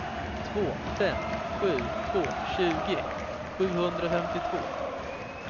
två fem sju två tjugo sjuhundrafemtiotvå